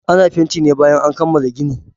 Ana fanti ne bayan an kammala gini